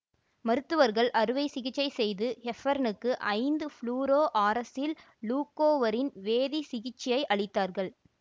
மருத்துவர்கள் அறுவைசிகிச்சை செய்து ஹெப்பர்னுக்கு ஐந்து ஃப்ளுரோஆரசில் லூகொவரின் வேதிசிகிச்சையை அளித்தார்கள்